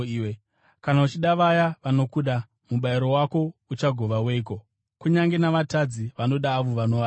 “Kana uchida vaya vanokuda, mubayiro wako uchagova weiko? Kunyange navatadzi vanoda avo vanovada.